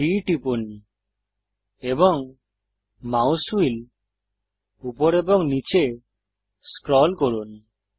D টিপুন এবং mouse wheel উপর এবং নীচে স্ক্রল করুন